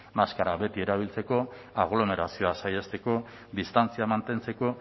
maskara beti erabiltzeko aglomerazioak saihesteko distantzia mantentzeko